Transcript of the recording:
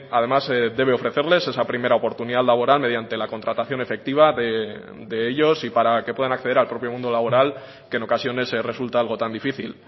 además debe ofrecerles esa primera oportunidad laboral mediante la contratación efectiva de ellos y para que puedan acceder al propio mundo laboral que en ocasiones resulta algo tan difícil